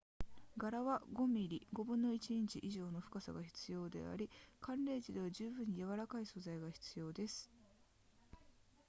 柄は5 mm1/5 インチ以上の深さが必要であり寒冷地では十分に柔らかい素材が必要です